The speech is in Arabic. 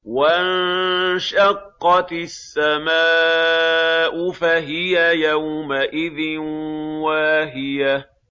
وَانشَقَّتِ السَّمَاءُ فَهِيَ يَوْمَئِذٍ وَاهِيَةٌ